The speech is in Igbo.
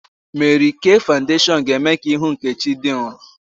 Mary K fawudeshiọn ga-eme ka ihu Nkechi dị nrọ